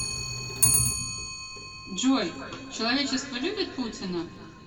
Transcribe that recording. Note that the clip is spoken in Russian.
джой человечество любит путина